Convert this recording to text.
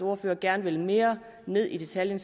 ordfører gerne vil mere ned i detaljerne